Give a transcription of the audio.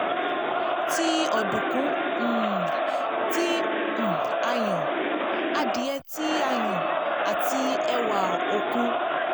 ti ọdunkun um ti um a yan, adie ti a yan ati ewa okun